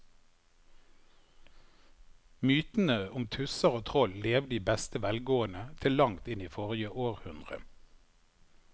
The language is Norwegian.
Mytene om tusser og troll levde i beste velgående til langt inn i forrige århundre.